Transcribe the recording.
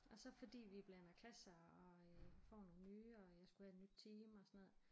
Og så fordi vi blander klasser og øh får nogen nye og jeg skulle have et nyt team og sådan noget